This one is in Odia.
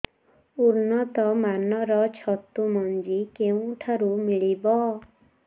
ଉନ୍ନତ ମାନର ଛତୁ ମଞ୍ଜି କେଉଁ ଠାରୁ ମିଳିବ